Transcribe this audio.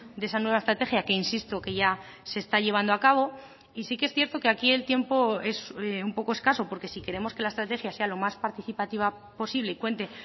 de esa nueva estrategia que insisto que ya se está llevando a cabo y sí que es cierto que aquí el tiempo es un poco escaso porque si queremos que la estrategia sea lo más participativa posible y cuente